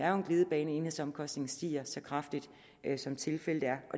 er en glidebane at enhedsomkostningen stiger så kraftigt som tilfældet er